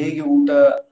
ಹೇಗ್ ಊಟ ನಾವು